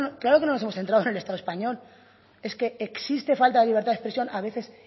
claro que nos hemos centrado en el estado español es que existe falta de libertad de expresión a veces